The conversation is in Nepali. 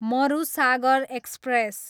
मरुसागर एक्सप्रेस